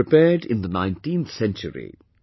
It was prepared in the 19th century